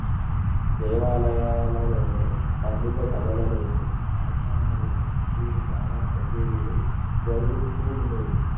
దేవాలయాలలోనూ పండిత సభలలోనూ ఆస్థానలోను వీరి గాన చకేరీలు జరుగుతూ వుండేవి